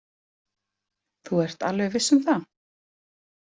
Þú ert alveg viss um það?